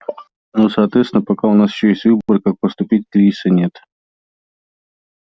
но соответственно пока у нас ещё есть выбор как поступить кризиса нет